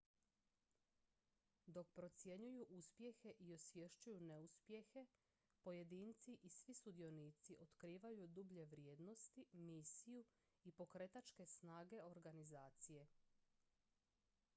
dok procjenjuju uspjehe i osvješćuju neuspjehe pojedinci i svi sudionici otkrivaju dublje vrijednosti misiju i pokretačke snage organizacije